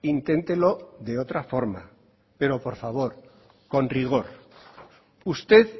inténtelo de otra forma pero por favor con rigor usted